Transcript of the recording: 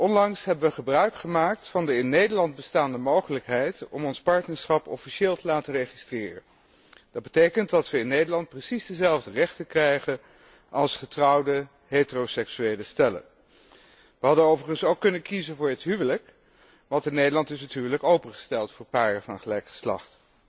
Onlangs hebben we gebruik gemaakt van de in Nederland bestaande mogelijkheid om ons partnerschap officieel te laten registreren. Dat betekent dat we in Nederland precies dezelfde rechten krijgen als getrouwde heteroseksuele stellen. We hadden overigens ook kunnen kiezen voor het huwelijk, want in Nederland is het huwelijk opengesteld voor paren van gelijk geslacht.